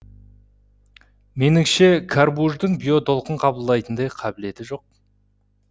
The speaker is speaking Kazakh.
меніңше карбуждың биотолқын қабылдайтындай қабиілеті жоқ